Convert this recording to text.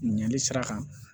Ɲɛli sira kan